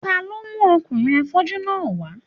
Ta ló mú ọkùnrin afọ́jú náà wá